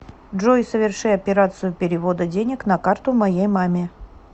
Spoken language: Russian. джой соверши операцию перевода денег на карту моей маме